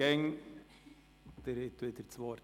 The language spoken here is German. () Sie haben wieder das Wort.